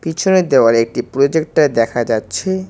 পিছনের দেওয়ালে একটি প্রজেক্টার দেখা যাচ্ছে।